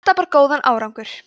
þetta bar góðan árangur